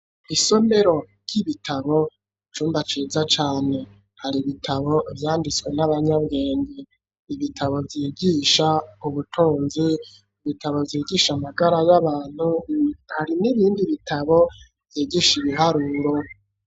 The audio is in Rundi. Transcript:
Isomero ry'ibitabo icumba ciza cane, hari bitabo vyanditswe n'abanyabwenge, ibitabo vyigisha ubutunzi, ibitabo vyigisha amagara y'abantu hari n'ibindi bitabo vyigisha ibiharuro.